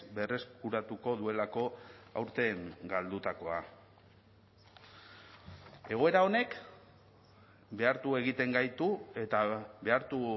berreskuratuko duelako aurten galdutakoa egoera honek behartu egiten gaitu eta behartu